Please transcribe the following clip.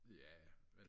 jaja